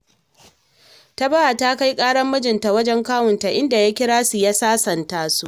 Tabawa ta kai ƙarar maijinta wajen kawunta, inda ya kira su, ya sasanta su